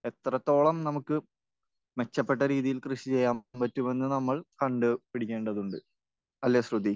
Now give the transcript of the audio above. എത്രത്തോളം നമുക്ക് മെച്ചപ്പെട്ട രീതിയിൽ കൃഷി ചെയ്യാൻ പറ്റുമെന്ന് നമ്മൾ കണ്ട് പിടിക്കേണ്ടതുണ്ട്. അല്ലെ, ശ്രുതി?